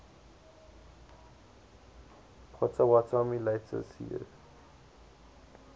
potawatomi later ceded